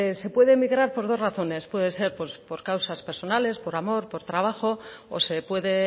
se puede migrar por dos razones puede ser por causas personales por amor por trabajo o se puede